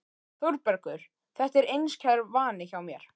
ÞÓRBERGUR: Þetta er einskær vani hjá mér.